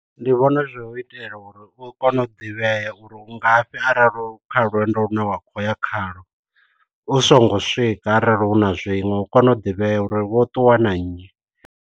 Ndi vhona zwi hu u itela uri u kone u ḓivhea uri u ngafhi arali u kha lwendo lune wa khou ya khalwo, u songo swika arali hu na zwiṅwe u kone u ḓivhea uri wo ṱuwa na nnyi.